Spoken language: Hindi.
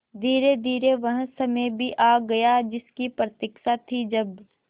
धीरेधीरे वह समय भी आ गया जिसकी प्रतिक्षा थी जब